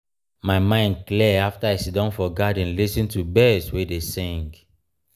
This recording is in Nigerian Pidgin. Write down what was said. my mind clear afta i siddon for garden lis ten to birds wey dey sing.